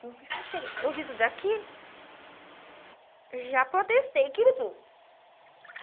o que eu fiz não cheguei. Eu vi tudo aquilo, já protestei aquilo tudo.